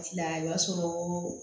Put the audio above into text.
Tila i b'a sɔrɔ